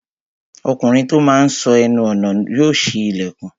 Ọkùnrin tó máa n sọ́ ẹnu ọnà yóò ṣí ilẹ̀kùn